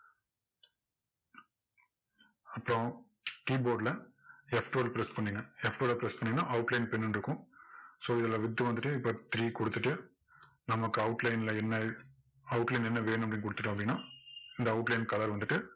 அப்பறம் keyboard ல F twelve அ press பண்ணுங்க F twelve அ press பண்ணீங்கன்னா outline pin ன்னு இருக்கும் so இதுல width வந்துட்டு இப்போ three கொடுத்துட்டு நமக்கு outline ல என்ன outline ல என்ன வேணுமோ அப்படின்னு கொடுத்துட்டோம் அப்படின்னா இந்த outline colour வந்துட்டு